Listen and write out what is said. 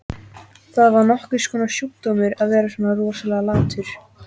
Það var nokkurs konar sjúkdómur að vera svona rosalega latur.